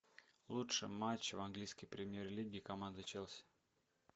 лучший матч в английской премьер лиги команды челси